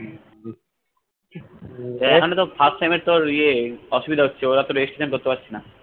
এখানে তো first time এ তোর ইয়ে অসুবিধা হচ্ছে ওরা তো registration করতে পারছেনা